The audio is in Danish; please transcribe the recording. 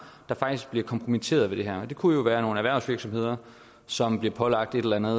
der faktisk bliver kompromitteret ved det her det kunne være nogle erhvervsvirksomheder som bliver pålagt et eller andet